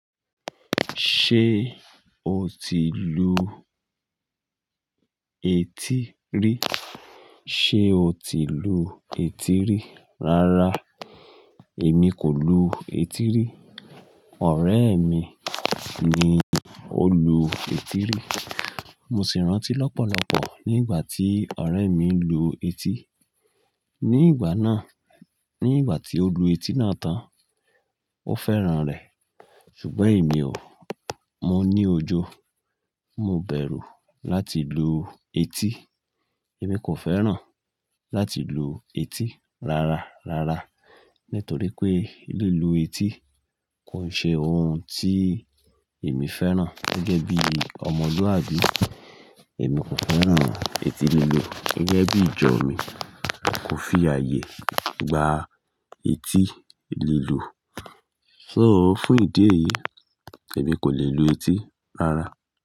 Ṣé o ti lu etí rí? Sé o ti lu etí rí rara? Èmi kò lu etí rí. Ọ̀rẹ́ mi ni ó lu etí rí. Mo sì rántí lọ́pọ̀lọpọ̀ nígbà tí ọ̀rẹ́ mi ń lu etí. Nígbà náà, nígbà tí ó lu etí náà tán, ó fẹ́ràn rẹ̀. Ṣùgbọ́n èmi ò. Mo ní òjo, mo bẹ̀rù láti lu etí. Èmi kò fẹ́ràn láti lu etí rárá, rárá. Nítorí pé lílù etí kò n ṣe ohun tí èmi fẹ́ràn gẹ́gẹ́ bí ọmọlúabí. Èmi kò fẹ́ràn etí lílù. Gẹ́gẹ́ bí ìjọ mi, kò fi ààyè gba etí lílù. So fún ìdí èyí, èmi kò lè lu etí rárá.